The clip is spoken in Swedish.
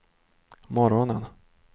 morgonen